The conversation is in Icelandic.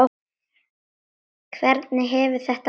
Hvernig hefur þetta gengið Einar?